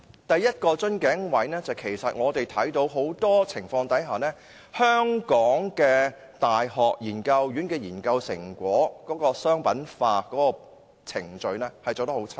第一，在很多情況下，香港的大學研究院的研究成果商品化程序做得很差。